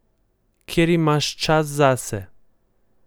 Kjer imaš čas zase.